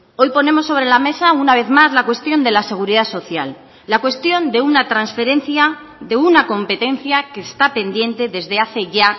hoy ponemos sobre la mesa una vez más la cuestión de la seguridad social la cuestión de una transferencia de una competencia que está pendiente desde hace ya